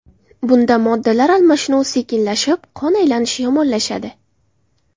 Bunda moddalar almashuvi sekinlashib, qon aylanishi yomonlashadi.